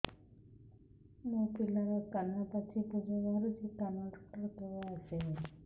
ମୋ ପିଲାର କାନ ପାଚି ପୂଜ ବାହାରୁଚି କାନ ଡକ୍ଟର କେବେ ଆସିବେ